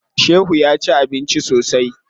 Shehu ya ci abinci sosai.